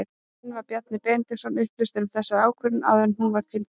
En var Bjarni Benediktsson upplýstur um þessa ákvörðun áður en hún var tilkynnt?